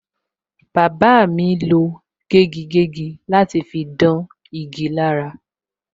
Bàbá mi lo gégigégi láti fi dán igi lára.